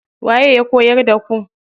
Waye ya koyar da ku?